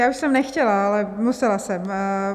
Já už jsem nechtěla, ale musela jsem.